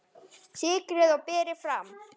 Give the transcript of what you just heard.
Sykrið og berið fram.